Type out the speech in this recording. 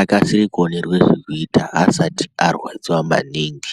akasire kuonerwe zvekuita asati arwadziwa maningi.